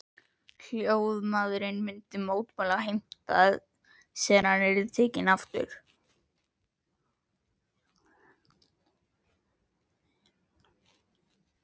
Hljóðmaðurinn myndi mótmæla og heimta að senan yrði tekin aftur.